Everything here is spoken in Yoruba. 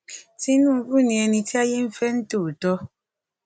tinúbú ni ẹni tí ayé ń fẹ ní tòótọ